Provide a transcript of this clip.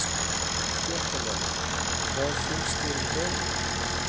Fréttamaður: Hvað finnst þér um dóminn?